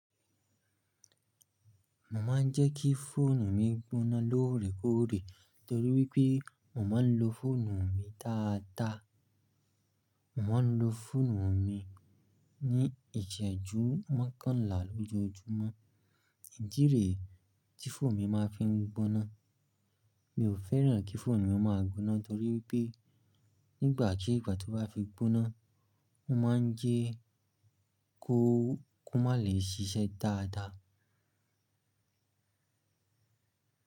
Mo máa ń jẹ́ kí fóònù mi gbóná lóòrèkóòrè torí wípé mo máa ń lo fóònù mi dáadáa. Mo máa ń lo fóònù mi ní ìsẹ́jú mọ́kànlá lójoojúmọ́. Ìdí rèé ti fóònù mi máa ń fi ń gbóná. Mi ò fẹ́ràn kí fóònù mi máa gbóná torí wípé nígbàkígbà tí ó bá fi gbóná, ó máa ń jẹ́ kó má le ṣíṣẹ́ dáadáa.